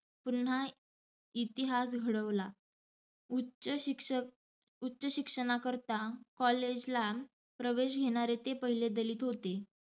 पुन्हा ईतिहास घडवला. उच्च शिक्षक उच्च शिक्षणाकरता college ला प्रवेश घेणारे ते पहिले दलित होते.